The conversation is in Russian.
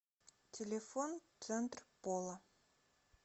телефон центр пола